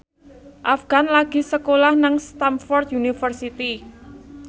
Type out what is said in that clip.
Afgan lagi sekolah nang Stamford University